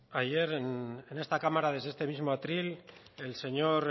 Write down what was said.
ayer en esta cámara en este mismo atril el señor